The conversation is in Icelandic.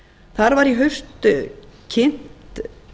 þar var í haust kynnt